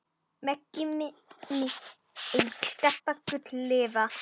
Megi minning Stebba Gull lifa.